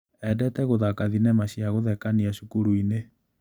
Endete gũthaka thinema cia gũthekania cukurinĩ.